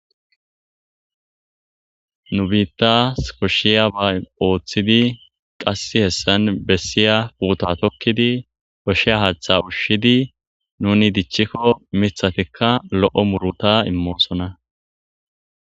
Nu biiththas koshshiyaba oothidi qasse hessan bessiyaba tokkidi koshiya haaththa ushshidi nuuni dichchikko miththatikka lo'o muruta immoosona.